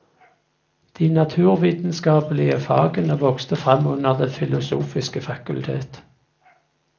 De naturvitenskapelige fagene vokste frem under det filosofiske fakultet.